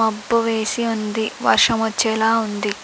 మబ్బు వేసి ఉంది. వర్షం వచ్చేలా ఉంది.